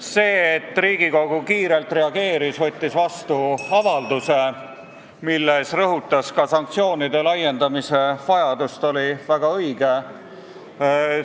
See, et Riigikogu kiirelt reageeris ja võttis vastu avalduse, milles rõhutas ka sanktsioonide laiendamise vajadust, oli väga õige.